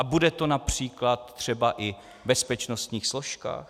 A bude to například třeba i v bezpečnostních složkách?